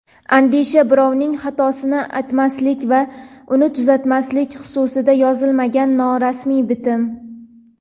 Andisha – birovning xatosini aytmaslik va uni tuzatmaslik xususida yozilmagan norasmiy bitim.